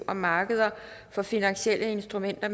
om markeder for finansielle instrumenter